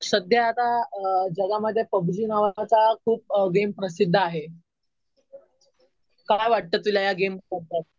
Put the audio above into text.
सध्या आता जगामध्ये पबजी नावाचा खूप गेम प्रसिद्ध आहे. काय वाटतं तुला या गेम बद्दल?